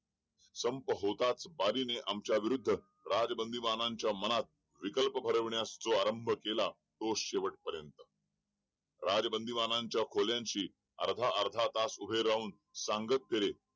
संप होताच बारी ने आमच्या विरुद्ध राज बंदीवानांच्या मनात विकल्प भरवण्यास जो आरंभ केला तो शेवट पर्यंत राज बंदीवानाच्या खोल्यांची अर्धा अर्धा तास उभे राहून सांगत केली